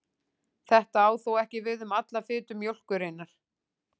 Þetta á þó ekki við um alla fitu mjólkurinnar.